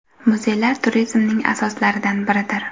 Muzeylar turizmning asoslaridan biridir.